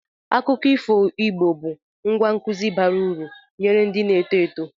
Akụkọ ifo Igbo bụ ngwá nkụzi bara uru nyere ndị na-eto eto.